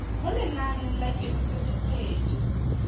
mo lenaneng la kemiso dikgwedi